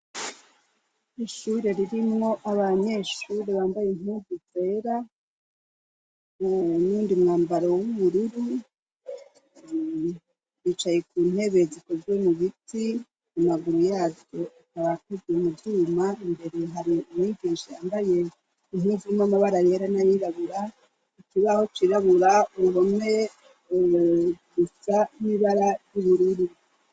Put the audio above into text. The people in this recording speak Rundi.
Ishure ririmwo abanyeshure bambaye impuzu zera n'uwundi mwambaro w'ubururu bicaye kuntebe zikozwe mubiti amaguru yazo abakozwe muvyuma imbere hari umwigisha yambaye impuzu amabara yera nayirabura ikibaho cirabura uruhome rusa n'ubururu